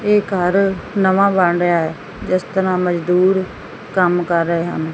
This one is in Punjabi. ਇਹ ਘਰ ਨਵਾਂ ਬਣ ਰਿਹਾ ਐ ਜਿਸ ਤਰ੍ਹਾਂ ਮਜ਼ਦੂਰ ਕੰਮ ਕਰ ਰਹੇ ਹਨ।